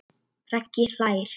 Raggi hlær.